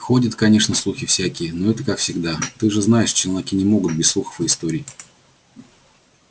ходят конечно слухи всякие но это как всегда ты же знаешь челноки не могут без слухов и историй